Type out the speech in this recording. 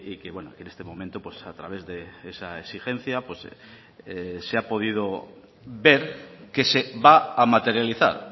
que en este momento a través de esa exigencia se ha podido ver que se va a materializar